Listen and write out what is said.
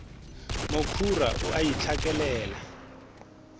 mokhura o a di hlakelela